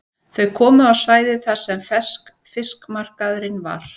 Þau komu á svæðið þar sem ferskfiskmarkaðurinn var.